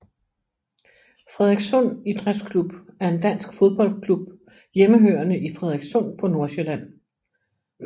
Frederikssund Idrætsklub er en dansk fodboldklub hjemmehørende i Frederikssund på Nordsjælland